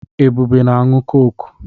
Ebube na-aṅụ kọ́kụ́.